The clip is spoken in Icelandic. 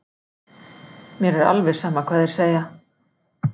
Mér er alveg sama hvað þeir segja.